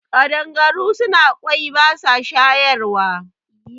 Kaɗangaru suna kwoyi basa shayarwa